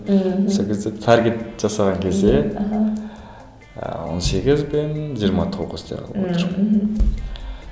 ммм сол кезде таргет жасаған кезде аха ыыы он сегіз бен жиырма тоғыз деп алып отырық